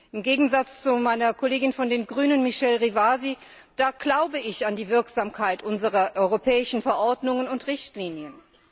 Im Gegensatz zu meiner Kollegin von den Grünen, Michèle Rivasi, glaube ich an die Wirksamkeit unserer europäischen Verordnungen und Richtlinien.